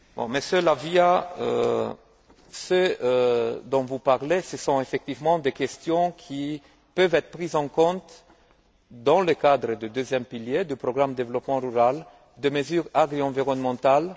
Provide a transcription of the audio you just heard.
Monsieur La Via, ce dont vous parlez, ce sont effectivement des questions qui peuvent être prises en compte dans le cadre du deuxième pilier du programme de développement rural de mesures agri environnementales.